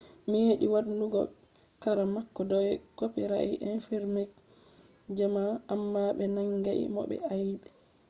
meɗi waddugo kara mako dau copirait infringment amma be nangai mo be aibe